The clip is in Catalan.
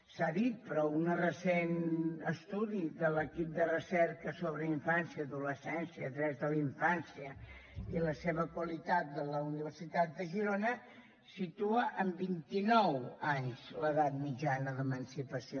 s’ha dit però un recent estudi de l’equip de recerca en infància adolescència drets de la infància i la seva qualitat de la universitat de girona situa en vint i nou anys l’edat mitjana d’emancipació